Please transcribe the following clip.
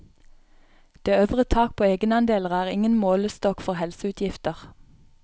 Det øvre tak på egenandeler er ingen målestokk for helseutgifter.